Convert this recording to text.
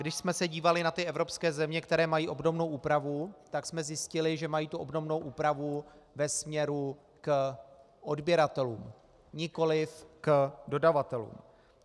Když jsme se dívali na ty evropské země, které mají obdobnou úpravu, tak jsme zjistili, že mají tu obdobnou úpravu ve směru k odběratelům, nikoliv k dodavatelům.